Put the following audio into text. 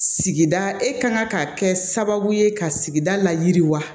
Sigi e ka kan ka kɛ sababu ye ka sigida la jiriwa